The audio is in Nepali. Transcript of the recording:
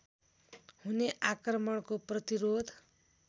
हुने आक्रमणको प्रतिरोध